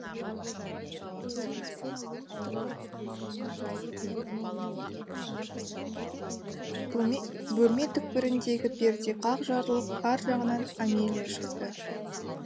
бөлме түкпіріндегі перде қақ жарылып ар жағынан амелия шықты